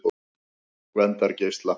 Gvendargeisla